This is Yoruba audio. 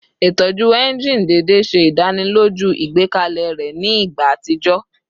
Itọju engine deede ṣe idaniloju igbẹkẹle rẹ ni igba atijọ